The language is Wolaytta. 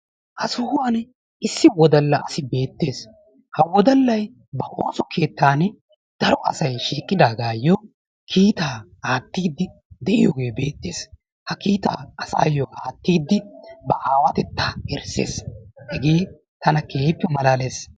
Ha sohuwan issi wodalla asi beettes ha wodallayi ba ooso keettaani darovasayi shiiqidaagaayyo kiitaa aattiiddi de7iyoogee beettes. Ha kiitaa asaayyo aattiiddi ba aawatettaa erisses. Hegee tana keehippe malaales.